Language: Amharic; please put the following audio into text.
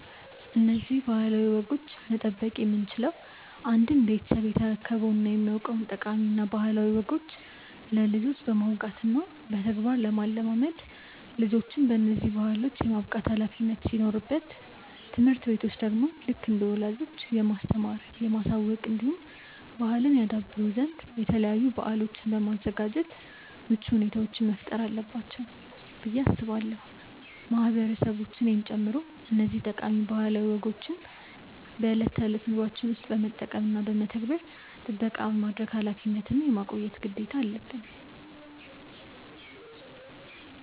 እነዚህን ባህላዊ ወጎች መጠበቅ የምንችለው አንድም ቤተሰብ የተረከበውን እና የሚያውቀውን ጠቃሚ እና ባህላዊ ወጎች ለልጆች በማውጋት እና በተግባር ለማለማመድ ልጆችን በነዚህ ባህሎች የማብቃት ኃላፊነት ሲኖርበት ትምህርት ቤቶች ደግሞ ልክ እንደ ወላጆች የማስተማር፣ የማሳወቅ እንዲሁም ባህልን ያደብሩ ዘንድ የተለያዩ በአሎችን በማዘጋጃት ምቹ ሁኔታዎችን መፍጠር አለባቸው ብዬ አስባለው። ማህበረሰቦች እኔን ጨምሮ እነዚህን ጠቃሚ ባህላዊ ወጎችን በእለት ተእለት ኑሮዎችን ውስጥ በመጠቀም እና በመተግበር ጥበቃ የማድረግ ኃላፊነት እና የማቆየት ግዴታ አለበን።